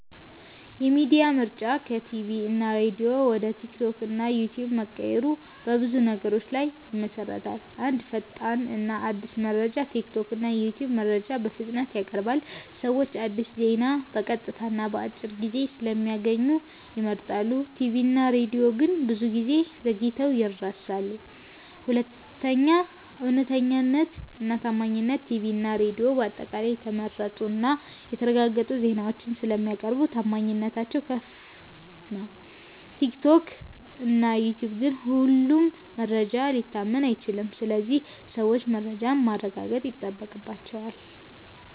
የሚዲያ ምርጫ ከቲቪ እና ሬዲዮ ወደ ቲክቶክ እና ዩትዩብ መቀየሩ በብዙ ነገሮች ላይ ይመሠረታል። 1. ፈጣንነት እና አዲስ መረጃ ቲክቶክ እና ዩትዩብ መረጃን በፍጥነት ያቀርባሉ። ሰዎች አዲስ ዜና በቀጥታ እና በአጭር ቪዲዮ ስለሚያገኙ ይመርጣሉ። ቲቪ እና ሬዲዮ ግን ብዙ ጊዜ ዘግይተው ይደርሳሉ። 2. እውነተኛነት እና ታማኝነት ቲቪ እና ሬዲዮ በአጠቃላይ የተመረጡ እና የተረጋገጡ ዜናዎችን ስለሚያቀርቡ ታማኝነታቸው ከፍ ነው። ቲክቶክ እና ዩትዩብ ግን ሁሉም መረጃ ሊታመን አይችልም ስለዚህ ሰዎች መረጃን ማረጋገጥ ይጠበቅባቸዋል።